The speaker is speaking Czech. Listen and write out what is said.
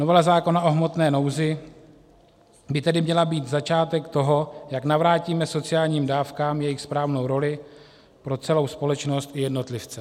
Novela zákona o hmotné nouzi by tedy měla být začátek toho, jak navrátíme sociálním dávkám jejich správnou roli pro celou společnost i jednotlivce.